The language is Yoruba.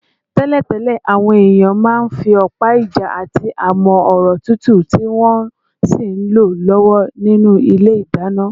Tẹ́lẹ̀tẹ́lẹ̀, àwọn èèyàn máa ń fi ọ̀pá-ìjà àti amọ́-ọ̀rọ̀ túútúú, tí wọ́n sì ń lọ lọ́wọ́ nínú ilé ìdáná